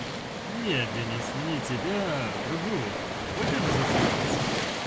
нет денис не тебя другого хочешь заценить